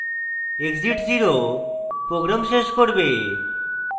exit 0 program শেষ করবে